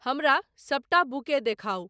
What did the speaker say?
हमरा सबटा बूके देखाउ।